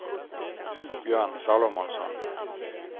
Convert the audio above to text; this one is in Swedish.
Björn Salomonsson